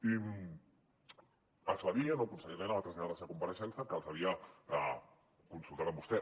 i es va dir el nou conseller elena va traslladar a la seva compareixença que els havia consultat amb vostè